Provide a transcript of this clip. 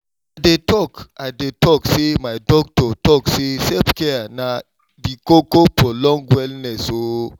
i dey talk i dey talk say my doc talk say self-care na di koko for long wellness o!